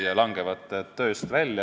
Palun lisaaega!